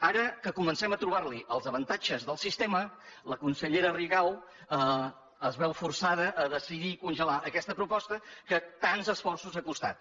ara que comencem a trobar hi els avantatges del sistema la consellera rigau es veu forçada a decidir congelar aquesta proposta que tants esforços ha costat